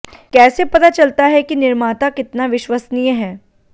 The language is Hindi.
कैसे पता चलता है कि निर्माता कितना विश्वसनीय है